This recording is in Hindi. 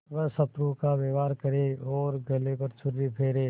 वह शत्रु का व्यवहार करे और गले पर छुरी फेरे